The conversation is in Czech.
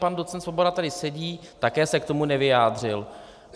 Pan docent Svoboda tady sedí, také se k tomu nevyjádřil.